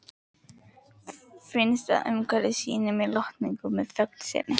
Finnst að umhverfið sýni mér lotningu með þögn sinni.